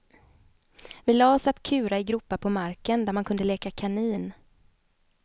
Vi lade oss att kura i gropar på marken, där man kunde leka kanin.